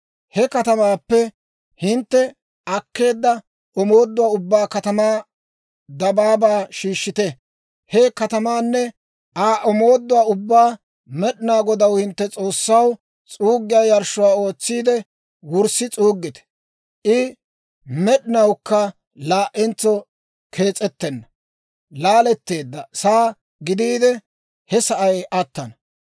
He katamaappe hintte akkeedda omooduwaa ubbaa katamaa dabaabaa shiishshite. He katamaanne Aa omooduwaa ubbaa Med'inaa Godaw, hintte S'oossaw, s'uuggiyaa yarshshuwaa ootsiide wurssi s'uuggite. I med'inawukka laa"entso kees'ettenna; laaletteedda saa gidiide, he sa'ay attana.